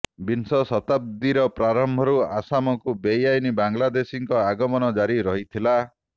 ବିଂଶ ଶତାବ୍ଦୀର ପ୍ରାରମ୍ଭରୁ ଆସାମକୁ ବେଆଇନ ବାଂଲାଦେଶୀଙ୍କ ଆଗମନ ଜାରି ରହିଥିଲା